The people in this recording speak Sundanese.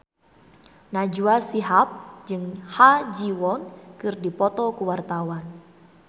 Najwa Shihab jeung Ha Ji Won keur dipoto ku wartawan